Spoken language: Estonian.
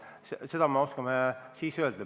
Seda me oskame siis öelda.